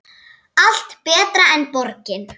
Allt betra en borgin.